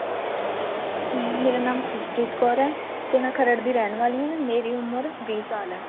ਅਹ ਮੇਰਾ ਨਾਮ ਖੁਸਪਰੀਤ ਕੌਰ ਹੈ ਤੇ ਮੈਂ ਖਰੜ ਦੀ ਰਹਿਣ ਵਾਲੀ ਆ ਮੇਰੀ ਉਮਰ ਵੀਹ ਸਾਲ ਹੈ